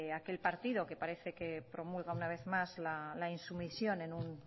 aquel partido que parece que promulga una vez más la insumisión en un